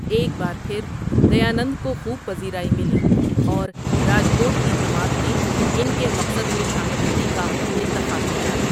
ایک بار پھر دیانند کو خوب پذیرائی مِلی اور راجکوٹ کی جماعت نے اِن کے مقصد میں شامل ہونے کا اِنتخاب کیا.